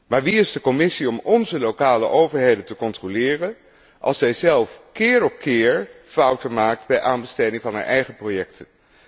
Maar wie is de Commissie om onze lokale overheden te controleren als zijzelf keer op keer fouten maakt bij aanbestedingen van haar eigen projecten?